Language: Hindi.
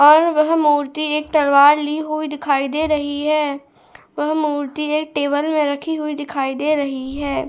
और वह मूर्ति एक तलवार लिए हुए दिखाई दे रही है वह मूर्ति है टेबल में रखी हुई दिखाई दे रही है।